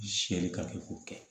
Sɛli ka k'o kɛ